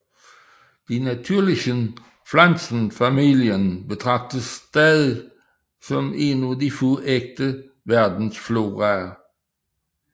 Die Natürlichen Pflanzenfamilien betragtes stadig som en af de få ægte verdensfloraer